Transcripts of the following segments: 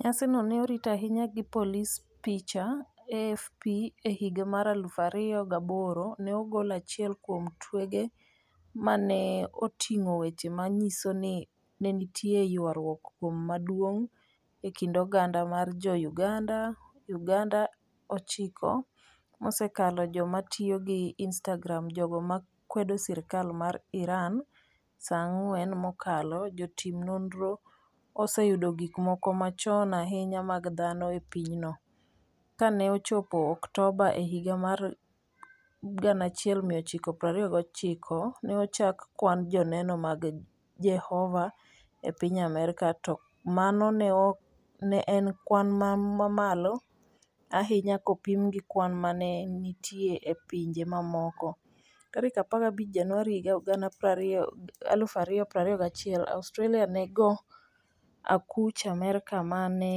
Nyasino ne orit ahinya gi polise Picha: AFP E higa mar aluf ariyo gaboro, ne ogol achiel kuom twege ma ne oting'o weche ma nyiso ni ne nitie ywaruok moro maduong ' e kind oganda mar Jo - Uganda. UgandaSa 9 mosekalo Joma tiyo gi Instagram Jogo ma kwedo sirkal mar IranSa 4 mokalo Jotim nonro oseyudo gik moko machon ahinya mag dhano e pinyno. Ka ne ochopo Oktoba e higa mar 1929, ne ochak kwan Joneno mag Jehova e piny Amerka, to mano ne en kwan mamalo ahinya kopim gi kwan ma ne nitie e pinje mamoko. 15 Januar 2021 Australia nego akuch Amerka 'ma ne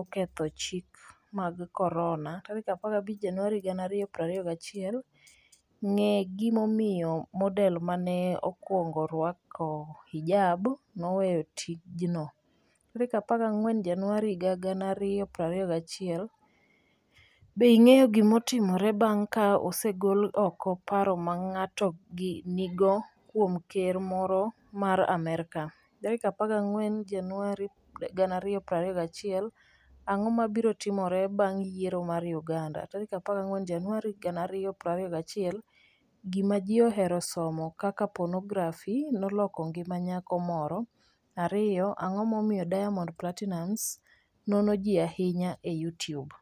oketho chike mag Corona' 15 Januar 2021 Ng'e gimomiyo model ma ne okwongo rwako hijab 'noweyo tijno' 14 Januar 2021 Be ing'eyo gima timore bang' ka osegol oko paro ma ng'ato nigo kuom ker moro mar Amerka? 14 Januar 2021 Ang'o mabiro timore bang' yiero mar Uganda? 14 Januar 2021 Gima Ji Ohero Somo 1 Kaka Ponografi Noloko Ngima Nyako Moro 2 Ang'o Momiyo Diamond Platinumz Nono Ji Ahinya e YouTube?